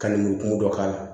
Ka ndugu dɔ k'a la